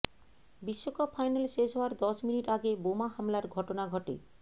বিশ্বকাপ ফাইনাল শেষ হওয়ার দশ মিনিট আগে বোমা হামলার ঘটনা ঘটে